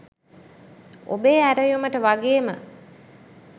ඔබේ ඇරයුමට වගේම